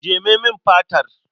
Jeme min fatar.